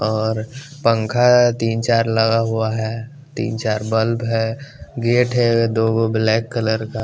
और पंखा तीन चार लगा हुआ है तीन चार बल्ब है गेट है दो ब्लैक कलर का।